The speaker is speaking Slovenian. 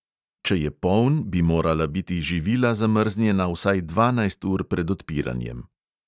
Če je poln, bi morala biti živila zamrznjena vsaj dvanajst ur pred odpiranjem.